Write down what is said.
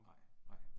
Nej, nej